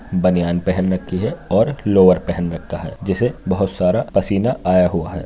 बनियान पहन रखी है और लोवर पहन रखा है जिसे बोहत सारा पसीना आया हुआ है।